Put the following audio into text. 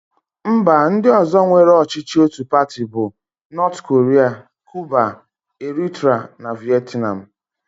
Mba ndị ọ̀zọ́ nwere ọchịchị ótù pati bụ: Nọọt korịa, Kiuba, Eritra, na Vietnam.